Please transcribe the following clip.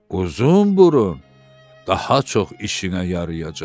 Uzun burun daha çox işinə yarayacaq.